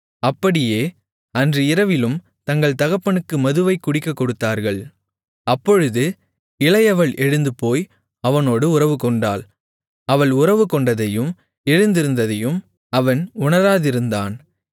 அப்படியே அன்று இரவிலும் தங்கள் தகப்பனுக்கு மதுவைக் குடிக்கக் கொடுத்தார்கள் அப்பொழுது இளையவள் எழுந்துபோய் அவனோடு உறவுகொண்டாள் அவள் உறவுகொண்டதையும் எழுந்திருந்ததையும் அவன் உணராதிருந்தான்